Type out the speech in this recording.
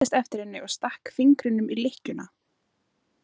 Hann seildist eftir henni og stakk fingrinum í lykkjuna.